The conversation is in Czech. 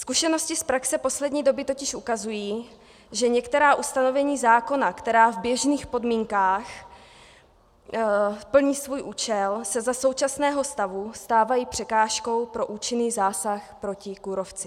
Zkušenosti z praxe poslední doby totiž ukazují, že některá ustanovení zákona, která v běžných podmínkách plní svůj účel, se za současného stavu stávají překážkou pro účinný zásah proti kůrovci.